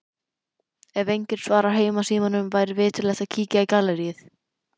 Ef enginn svarar heimasímanum væri viturlegt að kíkja í galleríið.